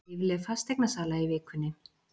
Lífleg fasteignasala í vikunni